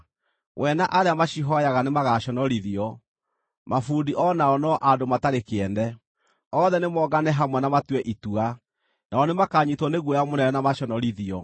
We na arĩa macihooyaga nĩmagaconorithio; mabundi o nao no andũ matarĩ kĩene. Othe nĩmongane hamwe na matue itua; nao nĩmakanyiitwo nĩ guoya mũnene na maconorithio.